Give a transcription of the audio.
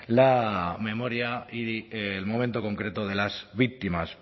la memoria y el momento concreto de las víctimas